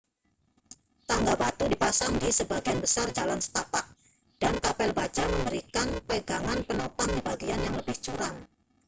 tangga batu dipasang di sebagian besar jalan setapak dan kabel baja memberikan pegangan penopang di bagian yang lebih curam